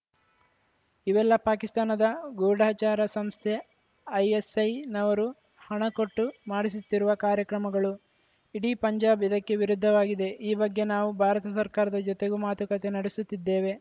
ಇವೆಲ್ಲ ಪಾಕಿಸ್ತಾನದ ಗೂಢಚಾರ ಸಂಸ್ಥೆ ಐಎಸ್‌ಐನವರು ಹಣ ಕೊಟ್ಟು ಮಾಡಿಸುತ್ತಿರುವ ಕಾರ್ಯಕ್ರಮಗಳು ಇಡೀ ಪಂಜಾಬ್‌ ಇದಕ್ಕೆ ವಿರುದ್ಧವಾಗಿದೆ ಈ ಬಗ್ಗೆ ನಾವು ಭಾರತ ಸರ್ಕಾರದ ಜೊತೆಗೂ ಮಾತುಕತೆ ನಡೆಸುತ್ತಿದ್ದೇವೆ